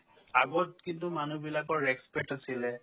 আগত কিন্তু মানুহবিলাকৰ respect আছিলে